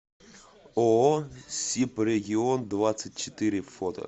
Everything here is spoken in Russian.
ооо сибрегион двадцать четыре фото